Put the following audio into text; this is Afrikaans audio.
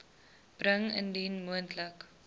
bring indien moontlik